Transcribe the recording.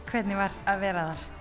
hvernig var að vera þar